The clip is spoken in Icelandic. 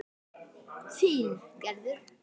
Þín Gerður.